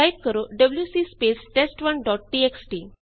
ਹੁਣ ਟਾਈਪ ਕਰੋ WC space test one dot txt